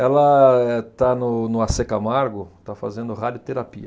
Ela, eh, está no, no Acê Camargo, está fazendo radioterapia.